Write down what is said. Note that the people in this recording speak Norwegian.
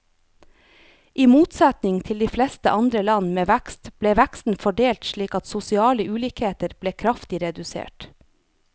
I motsetning til de fleste andre land med vekst, ble veksten fordelt slik at sosiale ulikheter ble kraftig redusert.